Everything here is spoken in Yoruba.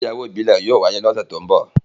Orȯ igbeyawo ibile yóò wáyè ni ọsẹ to n bọ.